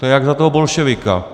To je jak za toho bolševika.